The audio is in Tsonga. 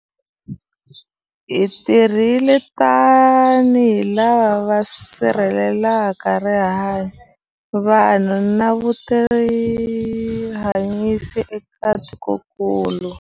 Hi tirhile tanihi lava va sirhelelaka rihanyu, vanhu na vutihanyisi eka tikokulu.